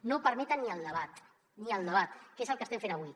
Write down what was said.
no permeten ni el debat ni el debat que és el que estem fent avui